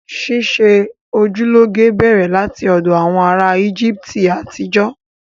Ṣíṣe ojú lọ́ge bẹ̀rẹ̀ láti ọ̀dọ̀ àwọn ará Íjíbítì àtijọ́